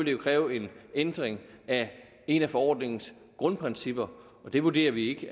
jo kræve en ændring af et af forordningens grundprincipper og det vurderer vi